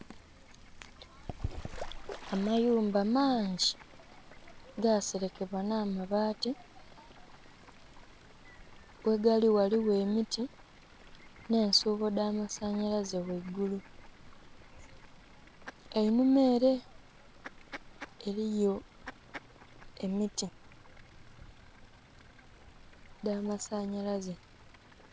Amayumba maangi gaselekebwa nha mabati ghegali ghaligho emiti nhe nsuubo dha masanhalaze ghaigulu einhuma ere eriyo emiti dha masanhalaze.